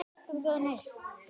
Guð minn góður nei.